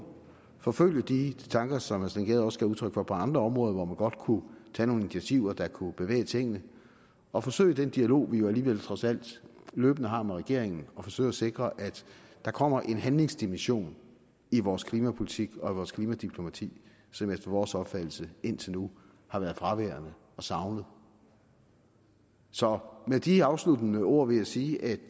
forfølge de tanker som herre steen gade også gav udtryk for på andre områder hvor man godt kunne tage nogle initiativer der kunne bevæge tingene og forsøge den dialog vi jo alligevel trods alt løbende har med regeringen og forsøge at sikre at der kommer en handlingsdimension i vores klimapolitik og i vores klimadiplomati som efter vores opfattelse indtil nu har været fraværende og savnet så med de afsluttende ord vil jeg sige at